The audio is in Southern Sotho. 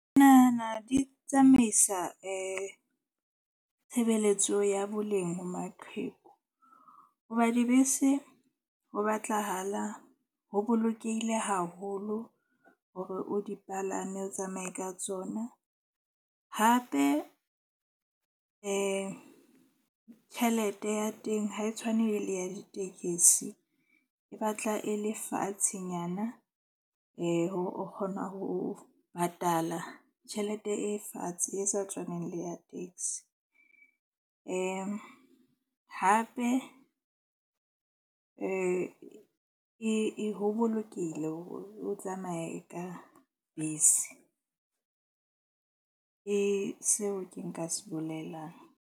Ke nahana di tsamaisa tshebeletso ya boleng ho maqheku. Hoba dibese ho batlahala, ho bolokehile haholo hore o di palame, o tsamaye ka tsona. Hape tjhelete ya teng ha e tshwane le ya ditekesi, e batla e le fatshenyana. Hore o kgona ho patala tjhelete e fatshe e sa tshwaneng le ya taxi. Hape e ho bolokehile hore o tsamaye ka bese ke seo ke nka se bolelang.